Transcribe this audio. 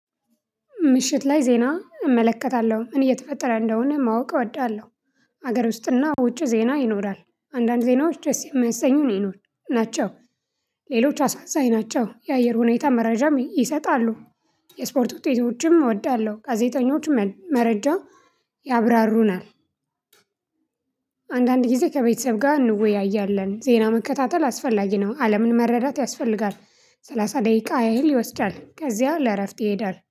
ምሽት ላይ ዜና እመለከታለሁ። ምን እየተፈጠረ እንደሆነ ማወቅ እወዳለሁ። ሀገር ውስጥና ውጪ ዜና ይኖራል። አንዳንድ ዜናዎች ደስ የሚያሰኙ ናቸው። ሌሎች አሳዛኝ ናቸው። የአየር ሁኔታ መረጃም ይሰጣሉ። የስፖርት ውጤቶችም እወዳለሁ። ጋዜጠኞችም መረጃ ያብራሩናል። አንዳንድ ጊዜ ከቤተሰብ ጋር እንወያያለን። ዜና መከታተል አስፈላጊ ነው። አለምን መረዳት ያስፈልጋል። ሰላሳ ደቂቃ ያህል ይወስዳል። ከዚያ ለእረፍት ይሄዳል።